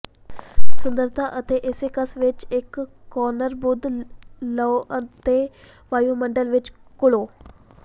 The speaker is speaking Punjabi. ਸੁੰਦਰਤਾ ਅਤੇ ਏਸੇਕਸ ਵਿਚ ਇਕ ਕੋਨਾਰ ਬੂਥ ਲਓ ਅਤੇ ਵਾਯੂਮੰਡਲ ਵਿਚ ਘੁਲੋ